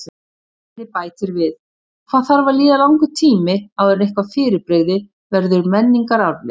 Spyrjandi bætir við: Hvað þarf að líða langur tími áður en eitthvað fyrirbrigði verður menningararfleifð?